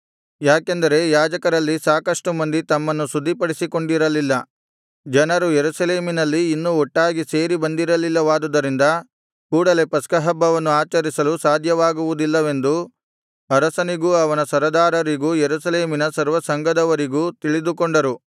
ಯಾಕೆಂದರೆ ಯಾಜಕರಲ್ಲಿ ಸಾಕಷ್ಟು ಮಂದಿ ತಮ್ಮನ್ನು ಶುದ್ಧಿಪಡಿಸಿಕೊಂಡಿರಲಿಲ್ಲ ಜನರು ಯೆರೂಸಲೇಮಿನಲ್ಲಿ ಇನ್ನೂ ಒಟ್ಟಾಗಿ ಸೇರಿ ಬಂದಿರಲಿಲ್ಲವಾದುದರಿಂದ ಕೂಡಲೆ ಪಸ್ಕಹಬ್ಬವನ್ನು ಆಚರಿಸಲು ಸಾಧ್ಯವಾಗುವುದಿಲ್ಲವೆಂದು ಅರಸನಿಗೂ ಅವನ ಸರದಾರರಿಗೂ ಯೆರೂಸಲೇಮಿನ ಸರ್ವಸಂಘದವರಿಗೂ ತಿಳಿದುಕೊಂಡರು